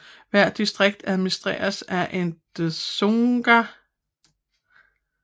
Hvert distrikt administreres af en dzongda